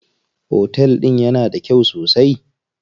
Otel din yana da kyau sosai?